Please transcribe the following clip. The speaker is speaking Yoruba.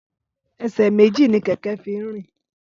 Ẹsẹ méjì ni kẹkẹ fin rin